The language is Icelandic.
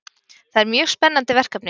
Það er mjög spennandi verkefni